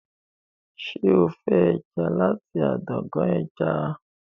ṣe o fẹ ẹja lati adágún ẹja?